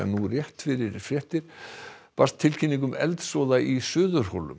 nú rétt fyrir fréttir barst tilkynning um eldsvoða í Suðurhólum